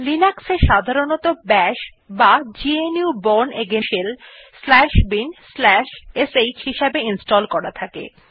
Linux এ সাধারনতঃ bash বা GNU bourne again shell shell binsh হিসাবে ইনস্টল করা থাকে